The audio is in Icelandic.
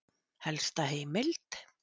Helsta heimild: